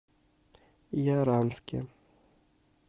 яранске